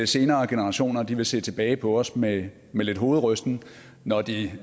senere generationer vil se tilbage på os med med lidt hovedrysten når de